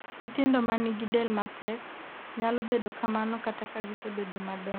nyithindo manigi del mapek nyalo bedo kamano kata ka gisebedo madongo